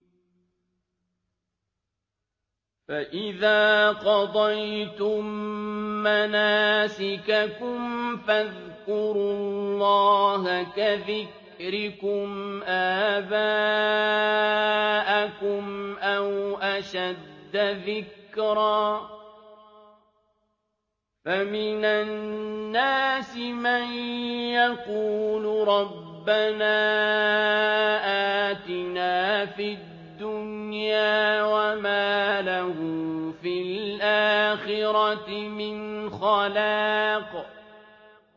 فَإِذَا قَضَيْتُم مَّنَاسِكَكُمْ فَاذْكُرُوا اللَّهَ كَذِكْرِكُمْ آبَاءَكُمْ أَوْ أَشَدَّ ذِكْرًا ۗ فَمِنَ النَّاسِ مَن يَقُولُ رَبَّنَا آتِنَا فِي الدُّنْيَا وَمَا لَهُ فِي الْآخِرَةِ مِنْ خَلَاقٍ